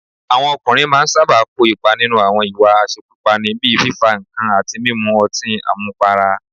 Àwọn ọkùnrin máa ń sábà kò ipa nínú àwọn ìwà àṣekúpani, bíi fífa nǹkan àti mímu ọtín àmupara